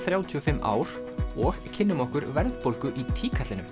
ár og kynnum okkur verðbólgu í